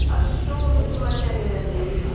ಅಷ್ಟೂ ಹೆಸರುವಾಸಿಯಾಗಿದೆ ದೇವಿ